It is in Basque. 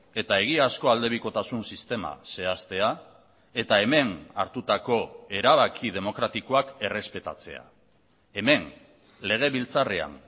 eta egiazko alde bikotasun sistema zehaztea eta hemen hartutako erabaki demokratikoak errespetatzea hemen legebiltzarrean